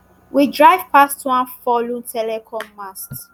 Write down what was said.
we drive past one fallen telecom mast